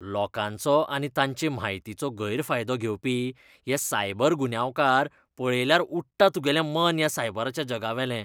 लोकांचो आनी तांचे म्हायतीचो गैरफायदो घेवपी हे सायबर गुन्यांवकार पळयल्यार उडटा तुगेलें मन ह्या सायबराच्या जगावेलें.